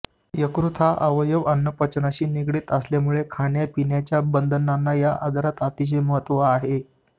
यकृत हा अवयव अन्नपचनाशी निगडित असल्यामुळे खाण्यापिण्याच्या बंधनांना या आजारात अतिशय महत्त्व आहे